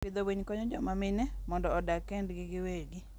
Pidho winy konyo joma mine mondo odag kendgi giwegi.